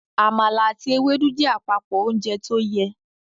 Àmàlà àti Ewédú jẹ́ àpapọ ounjẹ tóyẹ